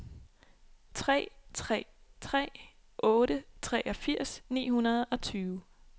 tre tre tre otte treogfirs ni hundrede og tyve